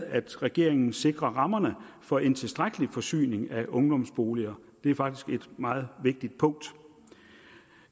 at regeringen sikrer rammerne for en tilstrækkelig forsyning af ungdomsboliger det er faktisk et meget vigtigt punkt